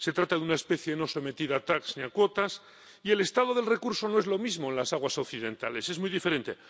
Se trata de una especie no sometida a TAC ni a cuotas, y el estado del recurso no es lo mismo en las aguas occidentales, es muy diferente.